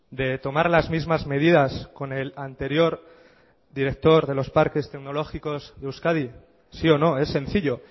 de tomar las mismas medidas con el anterior director de los parques tecnológicos de euskadi sí o no es sencillo